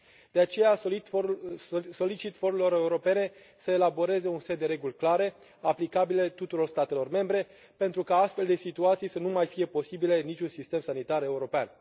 De aceea, solicit forurilor europene să elaboreze un set de reguli clare, aplicabile tuturor statelor membre pentru ca astfel de situații să nu mai fie posibile în niciun sistem sanitar european.